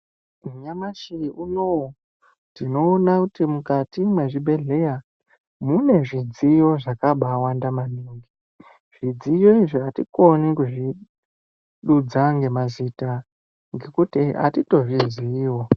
Nyamashi unoyu tinoona kuti mukati mezvibhedhlera munezvidziyo zvakabawanda maningi. Zvidziyo izvi hatikoni kuzvidudza ngemazita ngekuti hatito zviziyiwo.